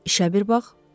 İşə bir bax!